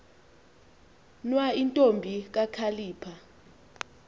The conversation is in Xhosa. nwa intombi kakhalipha